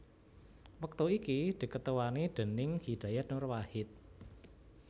wektu iki diketuani déning Hidayat Nur Wahid